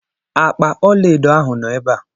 Akpa ọlaedo ahụ nọ ebe a.